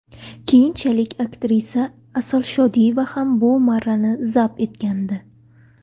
Keyinchalik aktrisa Asal Shodiyeva ham bu marrani zabt etgandi .